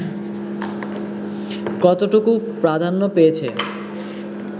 কতটুকু প্রাধান্য পেয়েছে